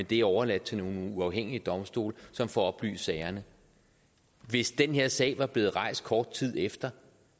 det er overladt til nogle uafhængige domstole som får oplyst sagerne hvis den her sag var blevet rejst kort tid efter